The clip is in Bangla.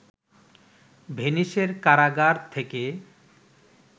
ভেনিসের কারাগার থেকে